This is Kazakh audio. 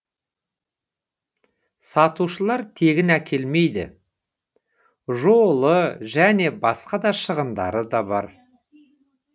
сатушылар тегін әкелмейді жолы және басқа да шығындары да бар